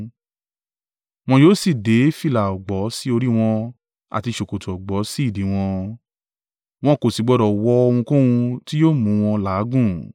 Wọ́n yóò sì dé fìlà ọ̀gbọ̀ sí orí wọn àti ṣòkòtò ọ̀gbọ̀ sí ìdí wọn. Wọn kò sì gbọdọ̀ wọ ohunkóhun tí yóò mú wọn làágùn.